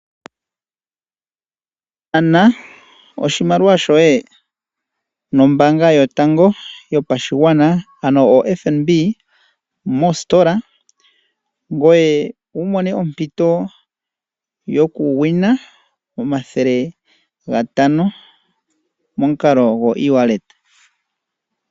Nana oshimaliwa shoye nOmbaanga yotango yopashigwana(FNB) mositola ngoye wu mone ompito yokugwina omathele gatano momukalo gwoEwallet.